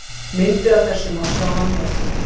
Myndir af þessu má sjá að neðan.